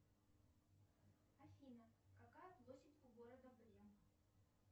афина какая площадь у города брем